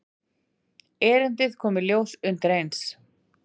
Erindið kom í ljós undireins.